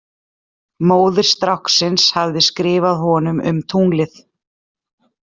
Móðir stráksins hafði skrifað honum um tunglið.